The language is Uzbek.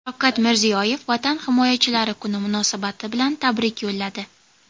Shavkat Mirziyoyev Vatan himoyachilari kuni munosabati bilan tabrik yo‘lladi .